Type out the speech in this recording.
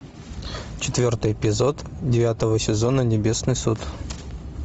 четвертый эпизод девятого сезона небесный суд